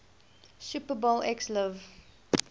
super bowl xliv